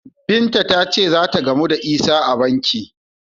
Binta ta ce za ta gamu da Isah a banki.